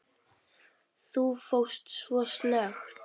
Þú fórst svo snöggt.